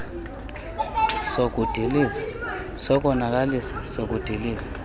sokudiliza sokonakalisa sokudiliza